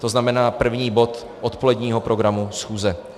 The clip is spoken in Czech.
To znamená první bod odpoledního programu schůze.